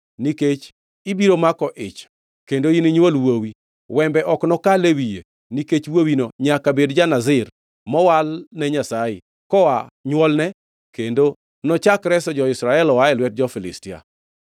nikech ibiro mako ich kendo ininywol wuowi. Wembe ok nokal e wiye, nikech wuowino nyaka bed ja-Nazir, mowal ne Nyasaye, koa nywolne, kendo nochak reso jo-Israel oa e lwet jo-Filistia.”